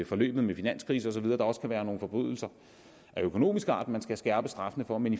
forløbet med finanskrise og så videre der også kan være nogle forbrydelser af økonomisk art som man skal skærpe straffene for men